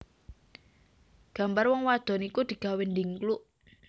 Gambar wong wadon iku digawé ndhingkluk